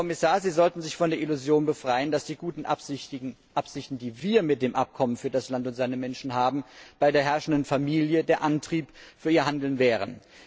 Herr Kommissar, Sie sollten sich von der Illusion befreien, dass die guten Absichten, die wir mit dem Abkommen für das Land und seine Menschen haben, bei der herrschenden Familie der Antrieb für ihr Handeln wären.